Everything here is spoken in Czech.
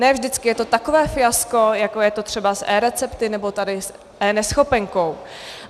Ne vždycky je to takové fiasko, jako je to třeba s eRecepty nebo tady s eNeschopenkou.